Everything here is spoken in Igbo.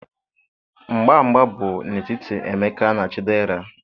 mgba mgba bụ n'etiti Emeka na Chidera.